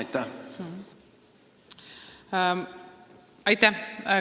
Aitäh!